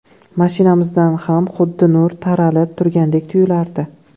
Mashinamizdan ham xuddi nur taralib turgandek tuyulardi.